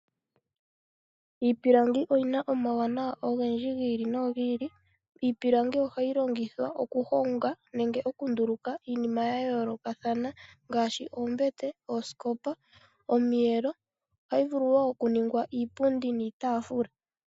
Iipilangi oyina omauwanawa ogendji gi ili, iipilangi oha yi longithwa ohu honga nenge oku ndu luka iinima ya yoloka ngashi oombete, ooskopa, omiyelo noha yi vulu oku ningwa iipundi niitafula.